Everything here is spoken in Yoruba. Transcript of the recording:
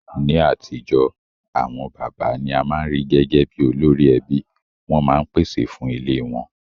Ní atijọ́, àwon bàbá ni a ma n ri gẹgẹ bi olórí ẹbí, won ma n pèsè fun ilé won